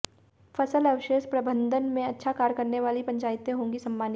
फसल अवशेष प्रबंधन में अच्छा कार्य करने वाली पंचायतें होंगी सम्मानित